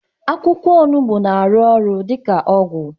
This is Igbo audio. Akwụkwọ onugbu na arụ ọrụ dika ọgwụ